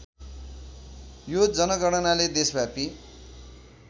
यो जनगणनाले देशव्यापी